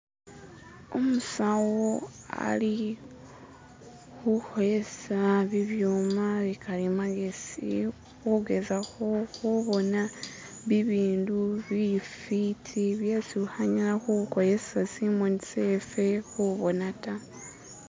umusawo ali huholesa bibyuma bikali magesi hugezaho hubona bibindu bifiti byesi hunyala huhosesa simoni sefe hubona ta